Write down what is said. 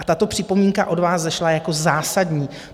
A tato připomínka od vás vzešla jako zásadní.